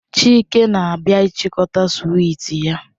Chike na-abia ichikota swiiti ya